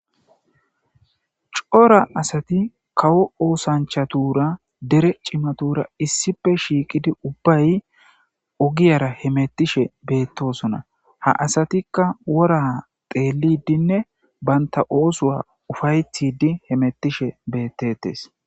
Coora asati kawo osanichatura dere cimatura issipe shiqidi ubayi ogera hemetishe betosona ha asatika wora xelidinee banita osa upayetidi hemetishe betetes